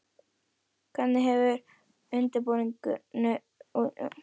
Hvernig hefur undirbúningur fyrir Lengjubikarinn og Íslandsmótið gengið?